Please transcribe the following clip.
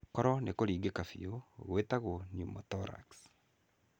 Koro nĩ kũringĩka biu gwĩtagwo pneumothorax.